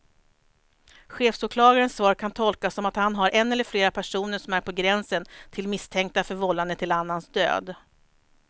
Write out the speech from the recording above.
Chefsåklagarens svar kan tolkas som att han har en eller flera personer som är på gränsen till misstänkta för vållande till annans död.